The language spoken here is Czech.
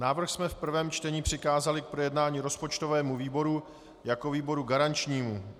Návrh jsme v prvém čtení přikázali k projednání rozpočtovému výboru jako výboru garančnímu.